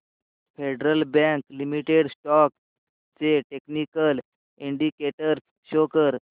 federal Bank Limited stocks चे technical indicators show कर